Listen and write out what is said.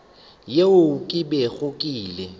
yeo ke bego ke ile